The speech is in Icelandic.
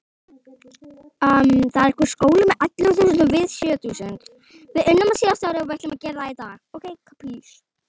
En hverjir geta unnið saman?